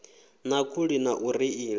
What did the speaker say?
na khuli na u reila